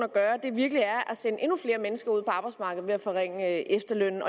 virkelig er at sende endnu flere mennesker ud på arbejdsmarkedet ved at forringe efterlønnen